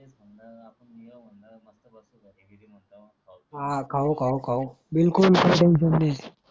आ खाऊ खाऊ खाऊ बिलकुल